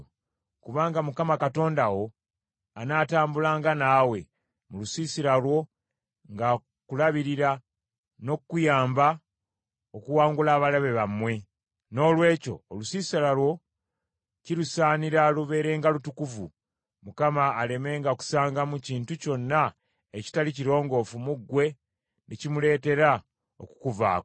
Kubanga Mukama Katonda wo anaatambulanga naawe, mu lusiisira lwo ng’akulabirira n’okukuyamba okuwangula abalabe bammwe. Noolwekyo olusiisira lwo kirusaanira lubeerenga lutukuvu, Mukama alemenga kusangamu kintu kyonna ekitali kirongoofu mu ggwe ne kimuleeteranga okukuvaako.